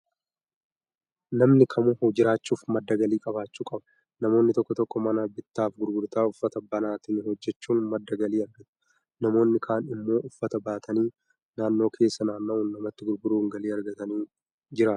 Namni kamuu jiraachuuf madda galii qabaachuu qaba. Namoonni tokko tokko mana bittaaf gurgurtaa uffataa banatanii hoojjechuun madda galii argatu. Namoonni kaan immoo uffata baatanii naannoo keessa naanna'uun namatti gurguuruun galii argataniin jiraatu